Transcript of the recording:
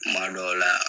Kuma dɔw la